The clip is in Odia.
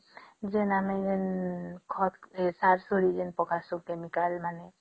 ଯେ ଆମେ ଯେମିତି ଖାତ ସାର ସୋର ଯେମିତି ପାକସନ chemical ମାନେ